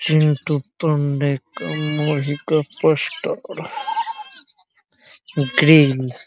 चिंटू पण्डे का मूवी का poster grills --